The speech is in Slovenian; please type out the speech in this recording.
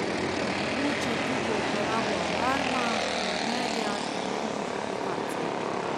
Omogoča tudi uporabo alarma, planerja in drugih aplikacij.